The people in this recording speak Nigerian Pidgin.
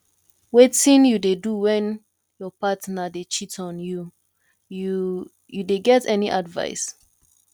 wetin you dey do when your partner dey cheat on you you um get any advice